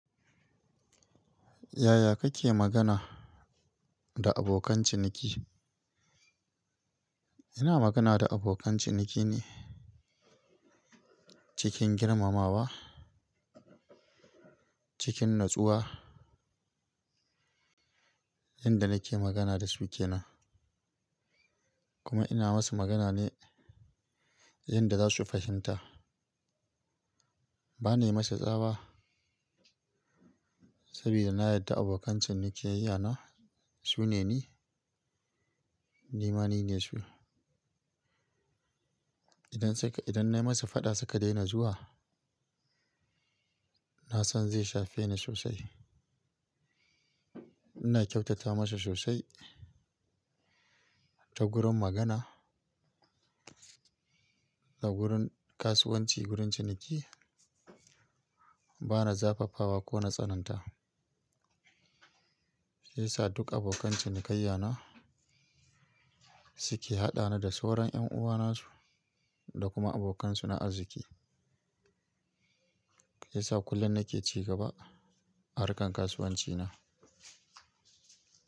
Yaya kake magana da abokan ciniki? Ina magana da abokan ciniki ne cikin girmamawa, cikin natsuwa. Inda nake magana da su ke nan. Kuma ina masu magana ne inda za su fahimta. Bana yi musu tsawa saboda na yarda abokan ciniki yayana su ne ni, nimani ne su. Idan saka-- idan na yi musu fada suka daina zuwa, na san zai shafe ni sosai. Ina kyautata masu sosai ta gurin magana, ta gurin kasuwanci, gurin ciniki. Bana zafafawa ko natsananta. Sai sa duk abokan ciniki yayana su ke haɗa ni da sauran ƴan uwansu da kuma abokansu na arziki. Sai sa kullum nake cigaba harkan kasuwanci na.